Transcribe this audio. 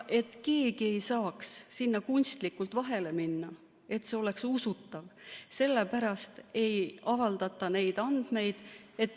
Et keegi ei saaks sinna kunstlikult vahele minna, et see oleks usutav, sellepärast ei avaldata neid andmeid.